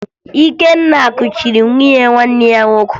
Ikenna kuchiri nwunye nwanne ya nwoke